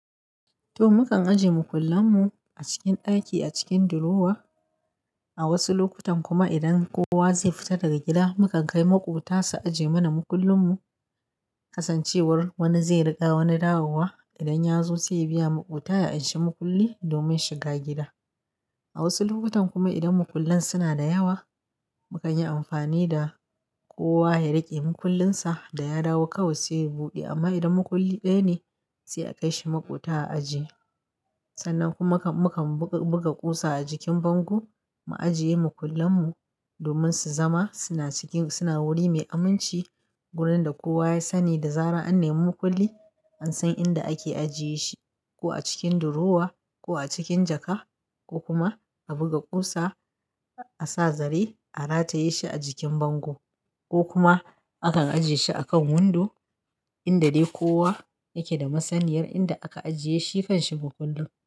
To, mukan ajiye makullan mu a cikin daki, a cikin durowa. A wasu lokutan kuma idan kowa zai fita daga gida, muka kai maƙwabta su ajiye mana makullin mu. Kasancewar wani zai riga wani dawowa, idan ya zo sai ya bi ya maƙwabta ya anshi makulli domin shiga gida. A wasu lokutan kuma idan makullan suna da yawa, mukan yi amfani da kowa ya riƙe makullinsa da ya dawo kawai sai ya buɗe. Amma idan makulli ɗaya ne, sai a kai shi maƙwabta a ajiye. Sannan kuma mukan buga kusa a jikin bango mu ajiye makullan mu domin su zama suna cikin suna wuri mai aminci. Gurin da kowa ya sani da zarar an nemi makulli, an san inda ake ajiye shi, ko a cikin durowa ko a cikin jaka ko kuma a buga kusa, a sa zare, a rataye shi a jikin bango ko kuma aka ajiye shi a kan hundo inda dai kowa yake da masaniyar inda aka ajiye shi, kanshi makullin.